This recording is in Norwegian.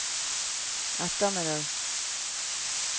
ettermiddag